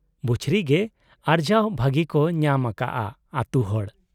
ᱵᱩᱪᱷᱨᱤ ᱜᱮ ᱟᱨᱡᱟᱣ ᱵᱷᱟᱹᱜᱤ ᱠᱚ ᱧᱟᱢ ᱟᱠᱟᱜ ᱟ ᱟᱹᱛᱩ ᱦᱚᱲ ᱾